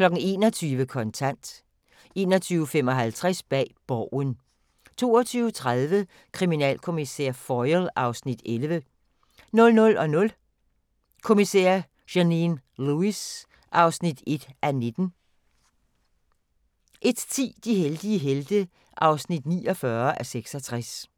21:00: Kontant 21:55: Bag Borgen 22:30: Kriminalkommissær Foyle (Afs. 11) 00:00: Kommissær Janine Lewis (1:19) 01:10: De heldige helte (49:66)